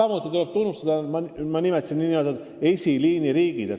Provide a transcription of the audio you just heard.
Ma nimetasin siin nn esiliiniriike.